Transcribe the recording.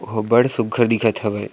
वो ह बड़ सुघर दिखथ हवे।